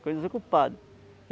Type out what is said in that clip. Ficou desocupada.